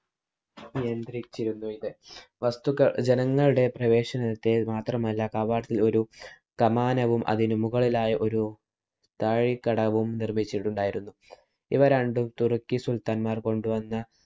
നിയന്ത്രിച്ചിരുന്നു ഇത്. വസ്തുക്ക~ ജനങ്ങളുടെ പ്രവേശനത്തെ മാത്രമല്ല കവാടത്തില്‍ ഒരു കമാനവും അതിനു മുകളിലായി ഒരു താഴിക്കടവും നിര്‍മ്മിച്ചിട്ടുണ്ടായിരുന്നു. ഇവ രണ്ടും തുര്‍ക്കി സുല്‍ത്താന്‍മാര്‍ കൊണ്ട് വന്ന